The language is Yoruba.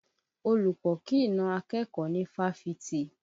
Olùkọ́ kì í na akẹ́kọ̀ọ́ ní Fáfitì